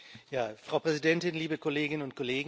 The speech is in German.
Frau Präsidentin, liebe Kolleginnen und Kollegen!